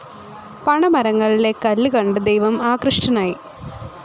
പണമരങ്ങളിലെ കല്ല് കണ്ടു ദൈവം ആകൃഷ്ടനായി.